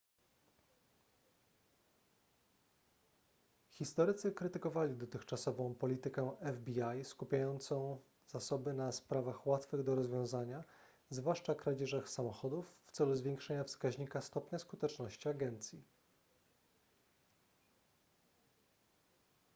historycy krytykowali dotychczasową politykę fbi skupiającą zasoby na sprawach łatwych do rozwiązania zwłaszcza kradzieżach samochodów w celu zwiększenia wskaźnika stopnia skuteczności agencji